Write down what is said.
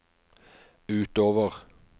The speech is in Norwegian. utover